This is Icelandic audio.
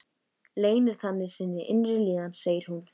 Leynir þannig sinni innri líðan, segir hún.